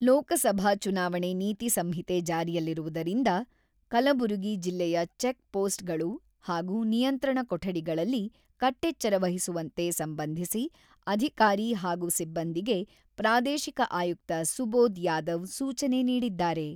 ಲೋಕಸಭಾ ಚುನಾವಣೆ ನೀತಿ ಸಂಹಿತೆ ಜಾರಿಯಲ್ಲಿರುವುದರಿಂದ ಕಲಬರುಗಿ ಜಿಲ್ಲೆಯ ಚೆಕ್‌ಪೋಸ್‌ಟ್‌ಗಳು ಹಾಗೂ ನಿಯಂತ್ರಣ ಕೊಠಡಿಗಳಲ್ಲಿ ಕಟ್ಟೆಚ್ಚರ ವಹಿಸುವಂತೆ ಸಂಬಂಧಿಸಿ ಅಧಿಕಾರಿ ಹಾಗೂ ಸಿಬ್ಬಂದಿಗೆ ಪ್ರಾದೇಶಿಕ ಆಯುಕ್ತ ಸುಬೋದ್ ಯಾದವ್ ಸೂಚನೆ ನೀಡಿದ್ದಾರೆ.